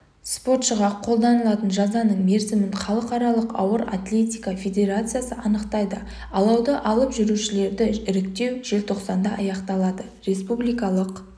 спортшыға қолданылатын жазаның мерзімін халықаралық ауыр атлетика федерациясы анықтайды алауды алып жүрушілерді іріктеу желтоқсанда аяқталады республикалық